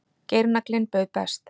Geirnaglinn bauð best